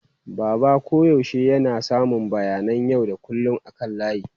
Baba koyaushe yana samun bayanan yau da kullun akan layi.